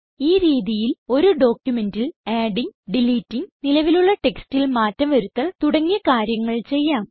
ഈ രീതിയിൽ ഒരു ഡോക്യുമെന്റിൽ ആഡിംഗ് ഡിലിറ്റിംഗ് നിലവിലുള്ള ടെക്സ്റ്റിൽ മാറ്റം വരുത്തൽ തുടങ്ങിയ കാര്യങ്ങൾ ചെയ്യാം